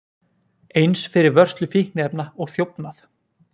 Eins fyrir vörslu fíkniefna og þjófnað